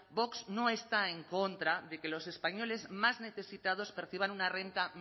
vox no está en contra de que los españoles más necesitados perciban una renta